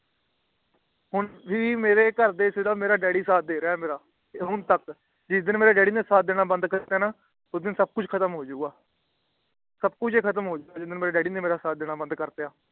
ਹੋਣ ਵੀ ਮੇਰੇ ਘਰਦਿਆਂ ਤੋਂ ਮੇਰਾ ਡੱਡੀ ਸਾਥ ਡੇਰਾ ਹੈ ਮੇਰਾ ਹੋਣ ਤਕ ਜਿਸ ਦਿਨ ਮੇਰੇ ਡੈਡੀ ਨੇ ਮੇਰਾ ਸਾਥ ਦੇਣਾ ਬੰਦ ਕਰ ਦੀਆ ਨਾ ਉਸ ਦਿਨ ਸਬ ਕੁਛ ਖਤਮ ਹੋ ਜੁਗ ਸਬ ਕੁਛ ਹੀ ਖਤਮ ਹੋਜੂਗਾ ਜੇ ਮੇਰੇ ਡੈਡੀ ਨੇ ਸਾਥ ਦੇਣਾ ਬੰਦ ਕਰ ਦੀਆ